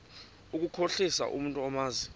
ukukhohlisa umntu omazi